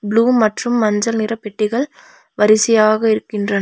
Blue மற்றும் மஞ்சள் நிற பெட்டிகள் வரிசையாக இருக்கின்றன.